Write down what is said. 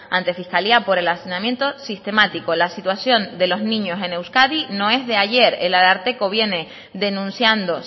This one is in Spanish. ante fiscalía por el hacinamiento sistemático la situación de los niños en euskadi no es de ayer el ararteko viene denunciando